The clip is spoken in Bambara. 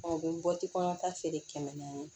u bɛ bɔti kɔnɔnata feere kɛmɛ naani